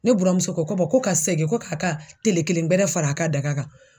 Ne buramuso ko, ko ko ka segin ko k'a ka tele kelen wɛrɛ fara a ka daga kan.